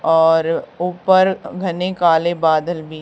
और ऊपर घने काले बादल भी--